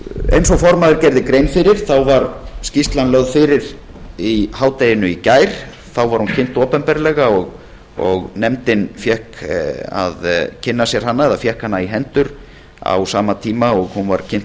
eins og formaður gerði grein fyrir var skýrslan lögð fyrir í hádeginu í gær þá var hún kynnt opinberlega og nefndin fékk hana í hendur á sama tíma og hún var kynnt